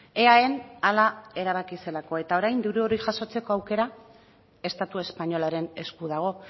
eaen hala erabaki zelako eta orain diru hori jasotzeko aukera estatu espainolaren esku dago